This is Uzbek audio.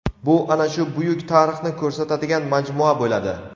Bu ana shu buyuk tarixni ko‘rsatadigan majmua bo‘ladi.